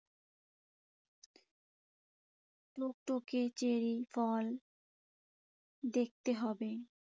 টুকটুকে চেরি ফল দেখতে হবে।